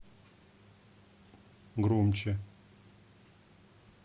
громче